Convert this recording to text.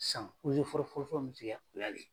San fɔrɔfɔrɔ fɔrɔfɔrɔ min sigira fila le.